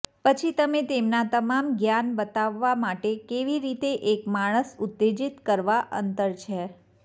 પછી તમે તેમના તમામ જ્ઞાન બતાવવા માટે કેવી રીતે એક માણસ ઉત્તેજિત કરવા અંતર છે